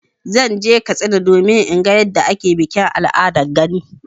Zan je Katsina domin in ga yadda ake bikin al'adar gani.